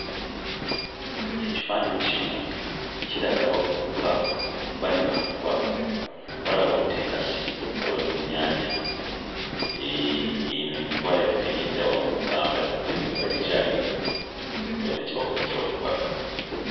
Ekifaananyi kino kiraga abavubuka bali mu kuvuba, obalaba bakutte enkasi nga bali ku nnyanja. Hee, eno y'envuba yaffe ey'edda wano mu Buganda, era ne kaakati ekyaliwo. Bayina kye bakola kye bavuba.